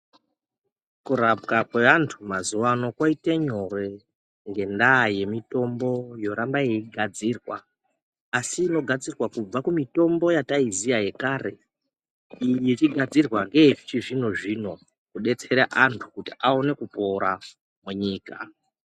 Kurapwa kwevantu mazuva ano kwaita nyore ngenyaya yemitombo yoramba yeigadzirwa asi inogadzirwa kubva kumitombo yataiziva yekare iyi ichigadzurwa ndeye chizvino zvino kudetsera antu kuti aone kupora munyika.